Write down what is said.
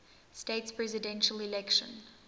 states presidential election